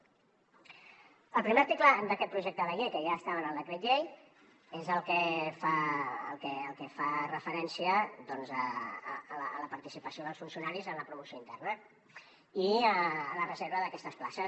el primer article d’aquest projecte de llei que ja estava en el decret llei és el que fa referència a la participació dels funcionaris en la promoció interna i la reserva d’aquestes places